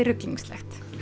ruglingslegt